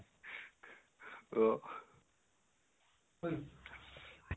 তহ